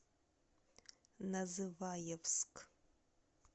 называевск